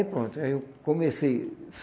Aí pronto, aí eu comecei.